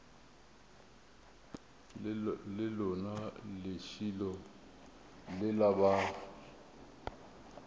le lona lešilo lela ba